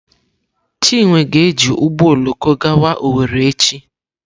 Chinwe ga-eji ụgbọ oloko gawa Owere echi.